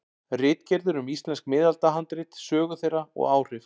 Ritgerðir um íslensk miðaldahandrit, sögu þeirra og áhrif.